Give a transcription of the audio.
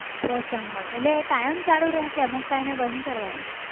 પોસણ મળે એટલે એ કાયમ ચાલુ રહે કે અમુક ટાઈમે બંધ કરવાની?